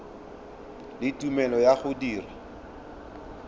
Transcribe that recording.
le tumelelo ya go dira